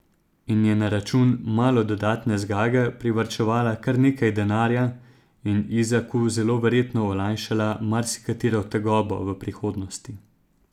In je na račun malo dodatne zgage privarčevala kar nekaj denarja in Izaku zelo verjetno olajšala marsikatero tegobo v prihodnosti.